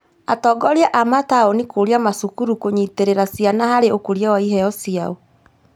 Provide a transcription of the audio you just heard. Atongoria a mataũni kũria macukuru kũnyitĩrĩra ciana harĩ ũkũria wa iheo ciao